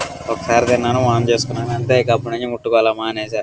ఒక సారి తిన్నాను వాంతి చేసుకున్నాను అంతే ఇక అప్పటి నుంచి ముట్టుకోడం మానేసా.